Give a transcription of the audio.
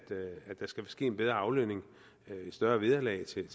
der skal ske en bedre aflønning et større vederlag til